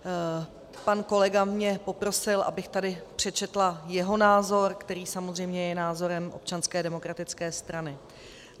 Pan kolega mě poprosil, abych tady přečetla jeho názor, který samozřejmě je názorem Občanské demokratické strany.